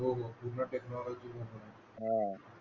हो पूर्ण टेक्नॉलॉजी वर